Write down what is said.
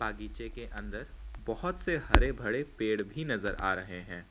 बगीचे के अंदर बहुत से हरे भरे पेड़ भी नजर आ रहे हैं।